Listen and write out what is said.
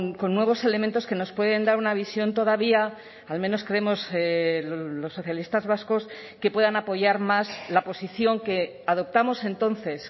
con nuevos elementos que nos pueden dar una visión todavía al menos creemos los socialistas vascos que puedan apoyar más la posición que adoptamos entonces